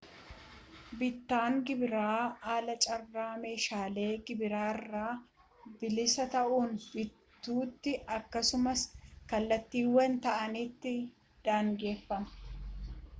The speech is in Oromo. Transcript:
bittaan gibiraan alaa carraa meeshaalee gibira irraa bilisa ta'an bituuti akkasumas kallattiiwwan ta'anitti daangeffama